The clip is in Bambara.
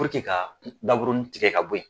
ka daburuni tigɛ ka bɔ ye.